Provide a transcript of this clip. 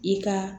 I ka